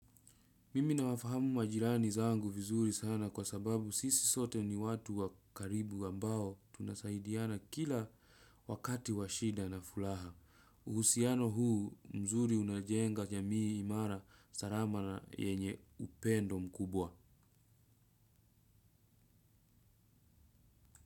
Mimi nawafahamu majirani zangu vizuri sana kwa sababu sisi sote ni watu wa karibu ambao tunasaidiana kila wakati wa shida na furaha. Uhusiano huu mzuri unajenga jamii imara salama na yenye uoendo mkubwa.